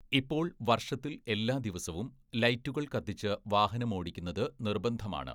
ഇപ്പോൾ വർഷത്തിൽ എല്ലാ ദിവസവും ലൈറ്റുകൾ കത്തിച്ച് വാഹനമോടിക്കുന്നത് നിർബന്ധമാണ്.